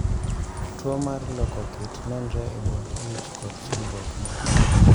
Tuo mar loko kit nenre e bund ich kod chandruok moko